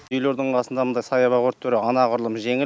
үйлердің қасында мындай саябақ өрттері анағұрлым жеңіл